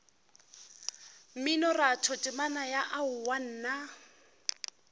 mminoratho temana ya aowa nna